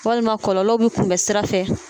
Walima kɔlɔlɔw bi kun bɛ sira fɛ